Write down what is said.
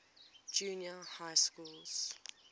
junior high schools